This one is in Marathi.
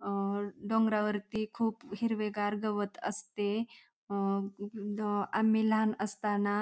अ डोंगरावरती खूप हिरवेगार गवत असते अ आम्ही लहान असताना